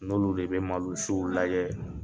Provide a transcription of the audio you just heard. N'olu de bɛ malosiw lajɛ